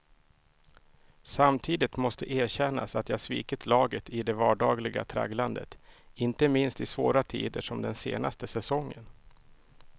Samtidigt måste erkännas att jag svikit laget i det vardagliga tragglandet, inte minst i svåra tider som den senaste säsongen.